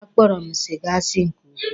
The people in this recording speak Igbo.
A kpọrọ m siga asi nke ukwuu.